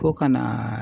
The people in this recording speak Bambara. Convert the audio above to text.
Ko ka na